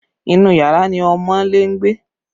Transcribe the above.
Inú yàrá ni ọmọọ́lé ń gbé